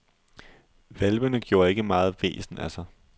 Hvalpene gjorde ikke meget væsen af sig.